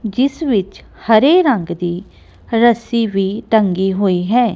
ਜਿਸ ਵਿੱਚ ਹਰੇ ਰੰਗ ਦੀ ਰੱਸੀ ਵੀ ਟੰਗੀ ਹੋਈ ਹੈ।